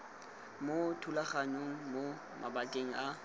mo thulaganyong mo mabakeng a